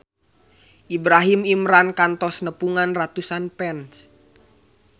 Ibrahim Imran kantos nepungan ratusan fans